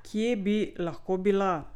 Kje bi lahko bila?